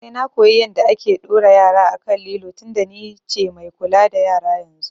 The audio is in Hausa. Sai na koyi yanda ake ɗora yara a kan lilo tinda ni ce mai kula da yara yanzu